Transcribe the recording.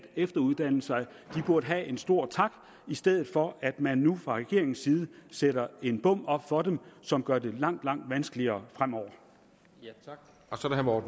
efteruddanne sig burde have en stor tak i stedet for at man nu fra regeringens side sætter en bom op for dem som gør det langt langt vanskeligere fremover